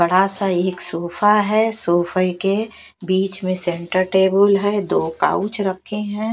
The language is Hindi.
बड़ा सा एक सोफा है सोफे के बीच में सेंटर टेबल है दो काउच रखे हैं।